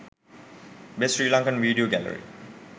best sri lankan video gallary